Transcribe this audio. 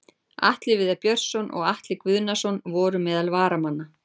Atli Viðar Björnsson og Atli Guðnason voru meðal varamanna.